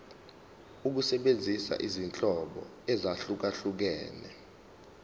ukusebenzisa izinhlobo ezahlukehlukene